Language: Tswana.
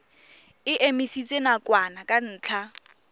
e emisitswe nakwana ka ntlha